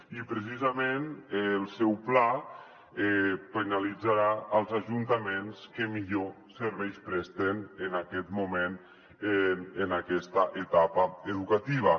i precisament el seu pla pe·nalitzarà els ajuntaments que millors serveis presten en aquest moment en aquesta etapa educativa